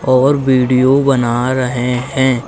और वीडियो बना रहे हैं।